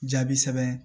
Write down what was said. Jaabi sɛbɛn